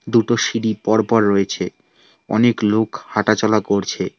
দুটো সিঁড়ি পরপর রয়েছে অনেক লোক হাঁটাচলা করছে।